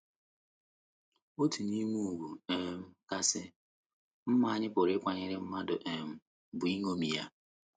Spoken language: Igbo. Otu n’ime ùgwù um kasị mma anyị pụrụ ịkwanyere mmadụ um bụ iṅomi ya.